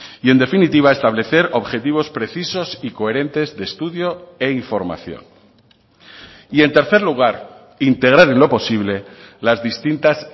y en definitiva establecer objetivos precisos y coherentes de estudio e información y en tercer lugar integrar en lo posible las distintas